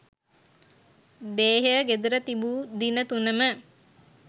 දේහය ගෙදර තිබූ දින තුනම